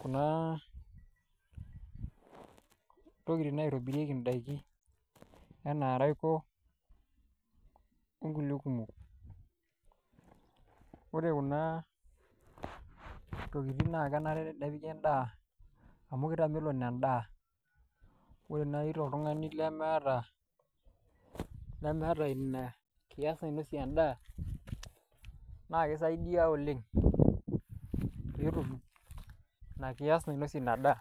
kuna tokiting naitobirieki daiki. Enaa raiko, onkulie kumok. Ore kuna tokiting na kenare tenepiki endaa, amu kitamelon endaa. Ore nai toltung'ani lemeeta, lemeeta ina kias nainosie endaa, na kisaidia oleng',petum ina kias nainosie ina daa.